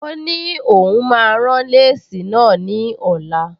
Ó ní òun máa rán léèsì náà ní ọ̀la